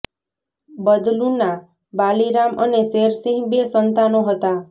બદલૂના બાલી રામ અને શેર સિંહ બે સંતાનો હતા